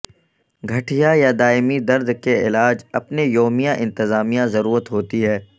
گٹھیا یا دائمی درد کے علاج اپنے یومیہ انتظامیہ ضرورت ہوتی ہے